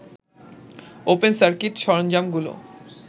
open circuit সরঞ্জামগুলো